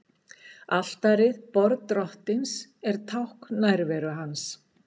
Altarið, borð Drottins, er tákn nærveru hans.